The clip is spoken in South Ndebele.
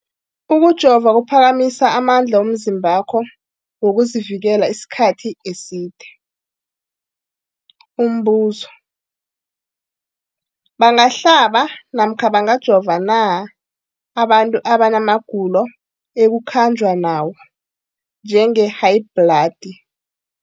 Ukujova kuphakamisa amandla womzimbakho wokuzivikela isikhathi eside. Umbuzo, bangahlaba namkha bangajova na abantu abana magulo ekukhanjwa nawo, njengehayibhladi?